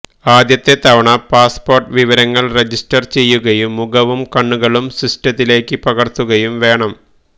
ആദ്യത്തെ തവണ പാസ്പോർട്ട് വിവരങ്ങൾ റജിസ്റ്റർ ചെയ്യുകയും മുഖവും കണ്ണുകളും സിസ്റ്റത്തിലേക്ക് പകർത്തുകയും വേണം